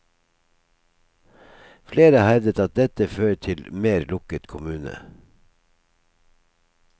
Flere har hevdet at dette fører til mer lukket kommune.